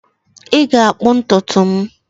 Ị ga-akpụ ntutu m?